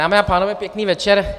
Dámy a pánové, pěkný večer.